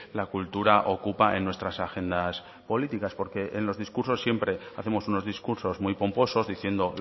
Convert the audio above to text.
la cultura ocupa en nuestras agendas políticas porque en los discursos siempre hacemos unos discursos muy pomposos diciendo